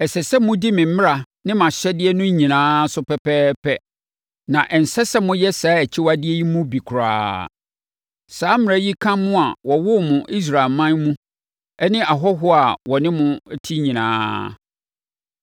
Ɛsɛ sɛ modi me mmara ne mʼahyɛdeɛ no nyinaa so pɛpɛɛpɛ na ɛnsɛ sɛ moyɛ saa akyiwadeɛ yi mu bi koraa. Saa mmara yi ka mo a wɔwoo mo Israelman mu ne ahɔhoɔ a wɔne mo te nyinaa.